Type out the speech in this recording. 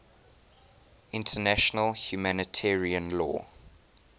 international humanitarian law